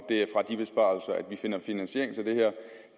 det er fra de besparelser vi finder finansiering til det her